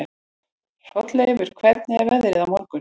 Hrolleifur, hvernig er veðrið á morgun?